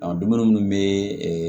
Ɔ dumuni munnu be ee